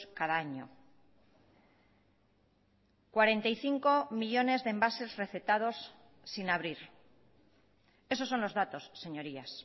cada año cuarenta y cinco millónes de envases recetados sin abrir esos son los datos señorías